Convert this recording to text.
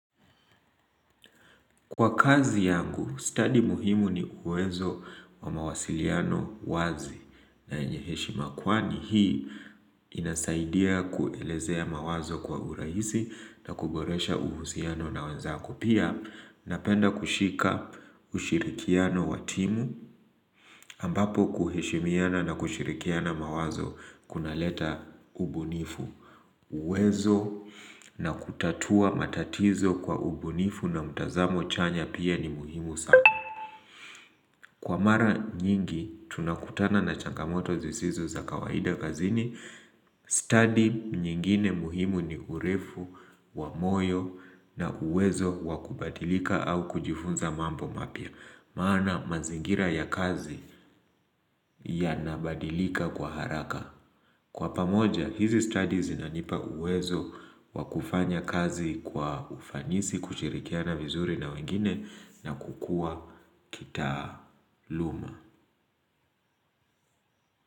Kwa kazi yangu, stadi muhimu ni uwezo wa mawasiliano wazi na yenye heshima kwani hii inasaidia kuelezea mawazo kwa urahisi na kuboresha uhusiano na wenzako. Pia, napenda kushika ushirikiano wa timu ambapo kuheshimiana na kushirikiana mawazo kunaleta ubunifu. Uwezo na kutatua matatizo kwa ubunifu na mtazamo chanya pia ni muhimu sana Kwa mara nyingi tunakutana na changamoto zisizo za kawaida kazini. Stadi nyingine muhimu ni urefu wa moyo na uwezo wa kubadilika au kujifunza mambo mapya maana mazingira ya kazi yanabadilika kwa haraka Kwa pamoja, hizi stadi zinanipa uwezo wa kufanya kazi kwa ufanisi, kushirikiana vizuri na wengine na kukua kitaaluma.